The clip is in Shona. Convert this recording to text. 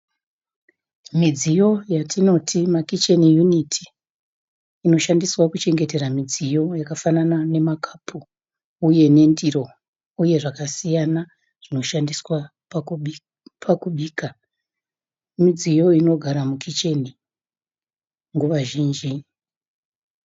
Midziyo yatinoti ma 'kitchen unit', inoshandiswa kuchengetera midziyo yakafanana nemakapu uye nendiro uye zvakasiyana zvinoshandiswa pakubika. Midziyo inogara mukicheni nguva zhinji.